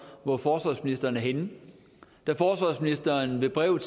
hvor forsvarsministeren er henne da forsvarsministeren ved brev